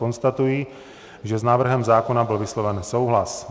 Konstatuji, že s návrhem zákona byl vysloven souhlas.